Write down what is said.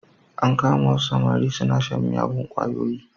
An kama wasu samari suna shan miyagun ƙwayoyi.